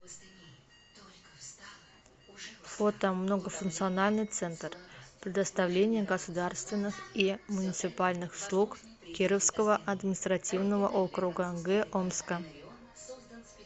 фото многофункциональный центр предоставления государственных и муниципальных услуг кировского административного округа г омска